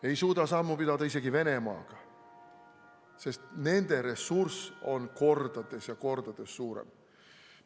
Me ei suuda sammu pidada isegi Venemaaga, sest nende ressurss on kordades ja kordades suurem.